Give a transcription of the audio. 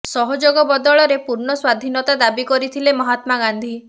ସହଯୋଗ ବଦଳରେ ପୂର୍ଣ୍ଣ ସ୍ୱାଧୀନତା ଦାବି କରିଥିଲେ ମହାତ୍ମା ଗାନ୍ଧୀ